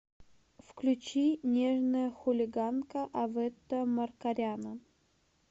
включи нежная хулиганка авета маркаряна